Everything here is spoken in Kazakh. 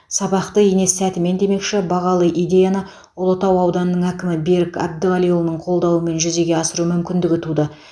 сабақты ине сәтімен демекші бағалы идеяны ұлытау ауданының әкімі берік әбдіғалиұлының қолдауымен жүзеге асыру мүмкіндігі туды